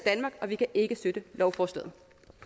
for vi kan ikke støtte lovforslaget